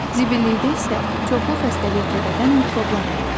Zibillikdə isə çoxlu xəstəlik törədən mikroblar olur.